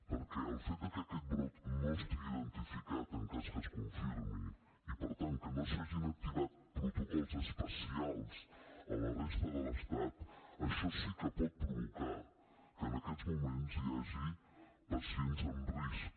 perquè el fet que aquest brot no estigui identificat en cas que es confirmi i per tant que no s’hagin activat protocols especials a la resta de l’estat això sí que pot provocar que en aquests moments hi hagi pacients en risc